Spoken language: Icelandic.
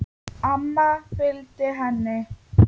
Amma fylgdi henni.